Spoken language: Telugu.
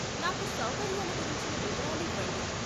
నాకు సౌకర్యాల గురించిన వివరాలు ఇవ్వండి.